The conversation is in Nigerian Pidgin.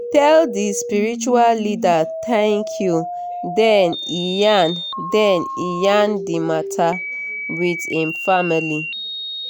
e tell d spiritual leader thank you then e yarn then e yarn di matter with im family.